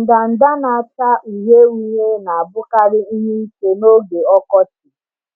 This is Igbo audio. Ndanda na-acha uhie uhie na-abụkarị ihe ike n’oge ọkọchị,